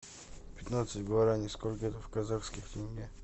пятнадцать гуарани сколько это в казахских тенге